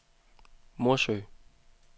Morsø